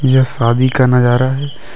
यह शादी का नजारा है।